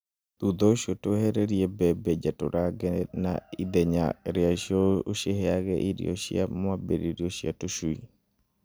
Thutha ũcio ciehererie mbembe njatũrange na ithenya rĩacio ũciheage irio cia mwambĩrĩrio cia tũcui.